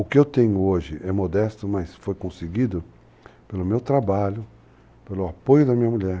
O que eu tenho hoje é modesto, mas foi conseguido pelo meu trabalho, pelo apoio da minha mulher.